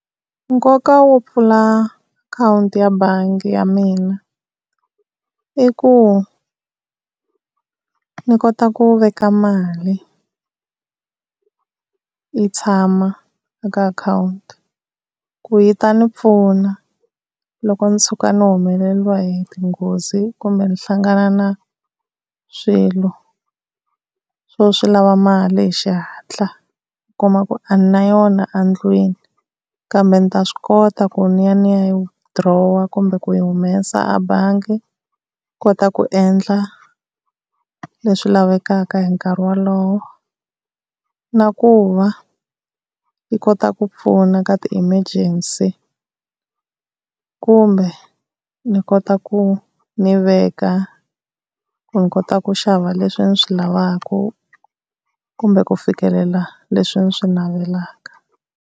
Nkoka wo pfula akhawunti ya bangi ya mina i ku ni kota ku veka mali, yi tshama eka akhawunti ku yi ta ni pfuna loko ndzi tshuka ndzi humeleriwa hi tinghozi kumbe ni hlangana na swilo swo swi lava mali hi xihatla u kuma ku a nina yona a ndlwini, kambe ni ta swi kota ku ni ya ni ya yi withdraw kumbe ku yi humesa a bangi, ku kota ku endla leswi lavekaka hi nkarhi wolowo. Na ku va yi kota ku pfuna ka ti-emergency kumbe ni kota ku ni veka ku ni kota ku xava leswi ni swi lavaka kumbe ku fikelela leswi ndzi swi navelaka.